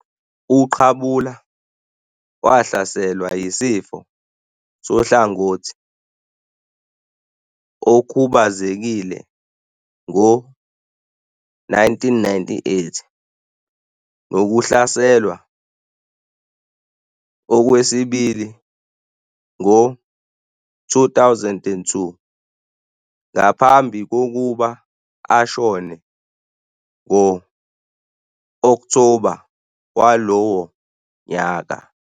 UQabula wahlaselwa yisifo sohlangothi okhubazekile ngo-1998 nokuhlaselwa okwesibili ngo-2002 ngaphambi kokuba ashone ngo-Okthoba walowo nyaka.